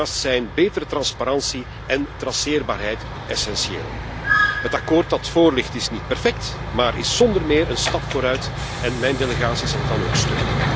Daarnaast zijn betere transparantie en traceerbaarheid essentieel. Het akkoord dat voorligt, is niet perfect, maar is zonder meer een stap vooruit en mijn delegatie zal het dan ook steunen.